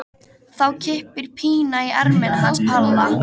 Þá kippir Pína í ermina hans Palla.